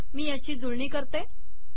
मी याची जुळणी करते